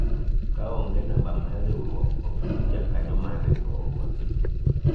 kaonge namba mar riwruok , ok in jakanyo mar riwruogwa